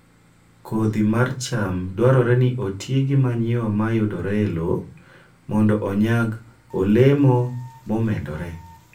Kodhi mar cham dwarore ni oti gi manyiwa ma yudore e lowo mondo onyag olemo momedore